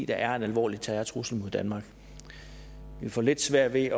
er en alvorlig terrortrussel mod danmark vi får lidt svært ved